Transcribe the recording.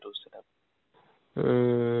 উম